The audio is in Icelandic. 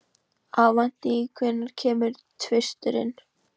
Avantí, hvenær kemur tvisturinn?